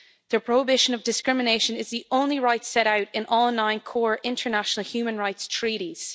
The prohibition of discrimination is the only right set out in all nine core international human rights treaties.